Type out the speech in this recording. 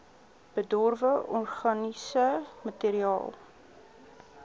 bedorwe organiese materiaal